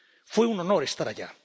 Fue un honor estar allá.